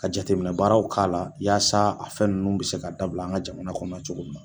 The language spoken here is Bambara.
Ka jateminɛ baaraw k'a la yaasa a fɛn nunnu bi se ka dabila an ka jamana kɔnɔ cogo min na.